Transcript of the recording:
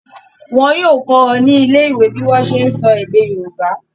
Wọ́n yóò kọ́ ọ ní ilé ìwé bí wọ́n ṣe ń sọ èdè yorùbá.